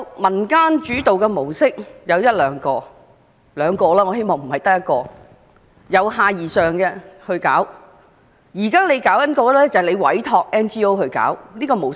民間主導的模式也許有一兩種吧——我固然希望不只一種——而且是由下而上地進行的模式。